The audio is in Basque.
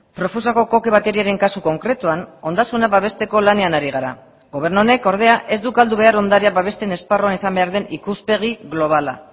profusako koke bateriaren kasu konkretuan ondasuna babesteko lanean ari gara gobernu honek ordea ez du galdu behar ondarea babesten esparruan izan behar den ikuspegi globala